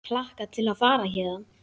Hlakka til að fara héðan.